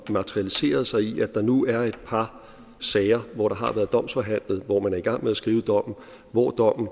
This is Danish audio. materialiseret sig i at der nu er et par sager hvor der har været domsforhandlet hvor man er i gang med at skrive dommen og hvor dommen